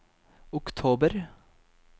oktober